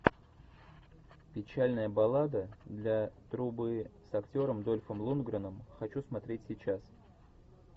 печальная баллада для трубы с актером дольфом лундгреном хочу смотреть сейчас